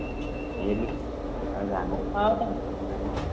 ଏ ମିକୁ ଆଉ ରାଣୀ ସହିତ କଥା ବାର୍ତା ତୋର ନାହିଁ?